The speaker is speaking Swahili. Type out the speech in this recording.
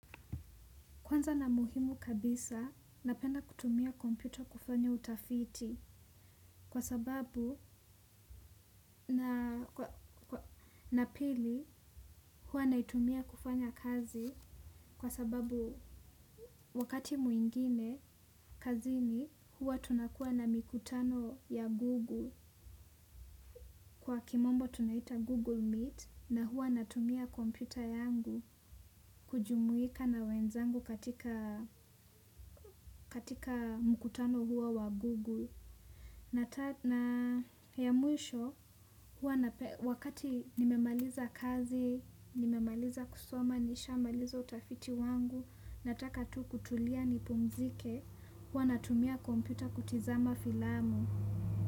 Kwanza na muhimu kabisa, napenda kutumia kompyuta kufanya utafiti kwa sababu na pili hua naitumia kufanya kazi kwa sababu wakati mwingine kazini hua tunakua na mikutano ya Google. Kwa kimombo tunaita Google Meet na hua natumia kompyuta yangu kujumuika na wenzangu katika mkutano huo wa Google. Na ya mwisho, wakati nimemaliza kazi, nimemaliza kusoma, nishamaliza utafiti wangu, nataka tu kutulia ni pumzike, wana tumia kompyuta kutizama filamu.